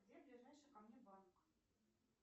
где ближайший ко мне банк